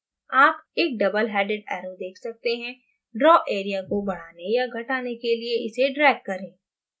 आप एक doubleheaded arrow देख सकते हैं draw area को बढ़ाने या घटाने के लिये इसे drag करें